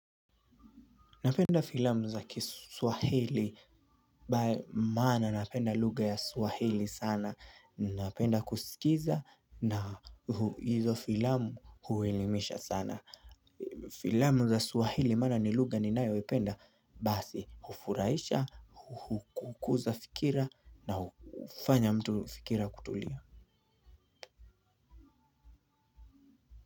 Napenda filamu za kiswahili. Maana napenda lugha ya swahili sana napenda kuskiza na hizo filamu huelimisha sana. Filamu za swahili maana ni lugha ninayoipenda. Basi, hufurahisha, hukuza fikira. Na hufanya mtu fikira kutulia.